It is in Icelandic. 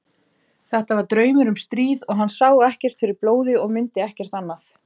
Þetta var draumur um stríð og hann sá ekkert fyrir blóði og mundi ekkert annað.